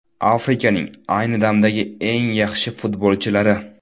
Afrikaning ayni damdagi eng yaxshi futbolchilari.